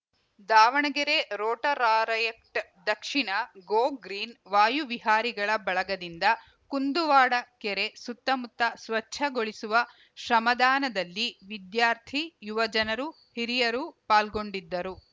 Davanagere rotaract ದಕ್ಷಿಣ go green ವಾಯು ವಿಹಾರಿಗಳ ಬಳಗದಿಂದ ಕುಂದುವಾಡ ಕೆರೆ ಸುತ್ತಮುತ್ತ ಸ್ವಚ್ಛಗೊಳಿಸುವ ಶ್ರಮದಾನದಲ್ಲಿ ವಿದ್ಯಾರ್ಥಿ ಯುವಜನರು ಹಿರಿಯರು ಪಾಲ್ಗೊಂಡಿದ್ದರು